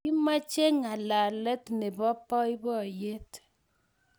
Kimache ngalalet nebo boiboyet